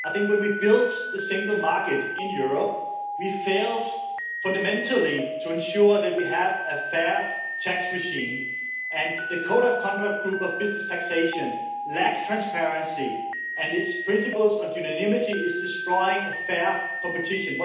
I think when we built the single market in Europe, we failed fundamentally to ensure that we have a fair tax regime, and the code of conduct group of business taxation lacks transparency and its principles on unanimity are destroying fair competition.